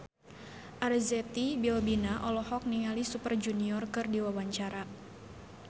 Arzetti Bilbina olohok ningali Super Junior keur diwawancara